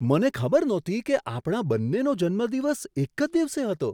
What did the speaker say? મને ખબર નહોતી કે આપણા બન્નેનો જન્મદિવસ એક જ દિવસે હતો!